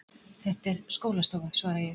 Þetta er skólastofa, svara ég.